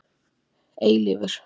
Eilífur